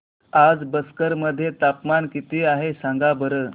आज बक्सर मध्ये तापमान किती आहे सांगा बरं